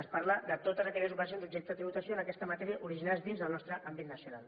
es parla de totes aquelles ocasions objecte de tributació en aquesta matèria originades dins del nostre àmbit nacional